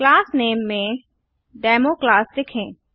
class name में democlass लिखें